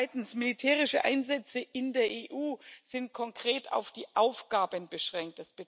Zweitens Militärische Einsätze in der EU sind konkret auf die Aufgaben beschränkt.